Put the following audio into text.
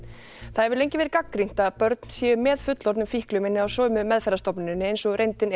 það hefur lengi verið gagnrýnt að börn séu með fullorðnum fíklum inni á sömu meðferðarstofnuninni eins og er reyndin